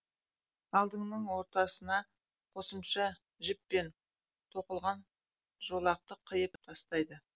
алдының ортасына қосымша жіппен тоқылған жолақты қиып тастайды